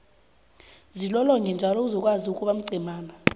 zilolonge njalo uzokwazi ukuba mcemana